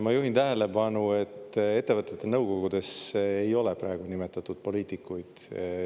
Ma juhin tähelepanu, et ettevõtete nõukogudesse ei ole praegu nimetatud poliitikuid.